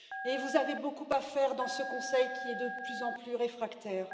Et vous avez beaucoup à faire dans ce Conseil, qui y est de plus en plus réfractaire.